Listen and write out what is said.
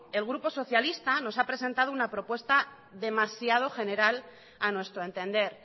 el grupo socialista nos ha presentado una propuesta demasiado general a nuestro entender